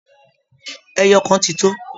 Ẹyọ kan ti tó